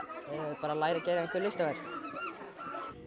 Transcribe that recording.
bara að læra að gera einhver listaverk